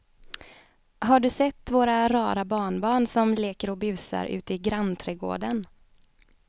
Har du sett våra rara barnbarn som leker och busar ute i grannträdgården!